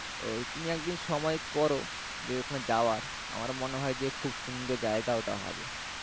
ওই তুমি একদিন সময় করো যে ওখানে যাওয়ার আমার মনে হয় যে খুব সুন্দর জায়গা ওটা হবে